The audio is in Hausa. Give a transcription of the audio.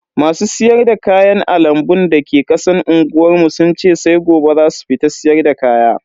Masu siyar da kayan a lambun da ke kasan unguwar mu sun ce sai gobe zasu fito siyarda kaya.